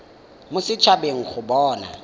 mo set habeng go bona